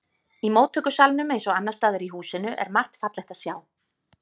Í móttökusalnum eins og annars staðar í húsinu er margt fallegt að sjá.